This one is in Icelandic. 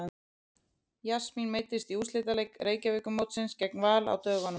Jasmín meiddist í úrslitaleik Reykjavíkurmótsins gegn Val á dögunum.